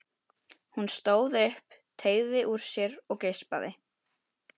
Hún stóð upp, teygði úr sér og geispaði.